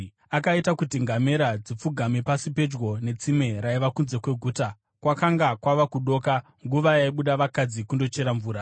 Akaita kuti ngamera dzipfugame pasi pedyo netsime raiva kunze kweguta; kwakanga kwava kudoka, nguva yaibuda vakadzi kundochera mvura.